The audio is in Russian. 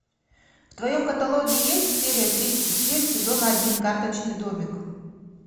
в твоем каталоге есть серия тридцать семь сезона один карточный домик